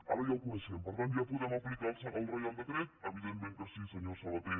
ara ja el coneixem per tant ja podem aplicar el reial decret evidentment que sí senyor sabaté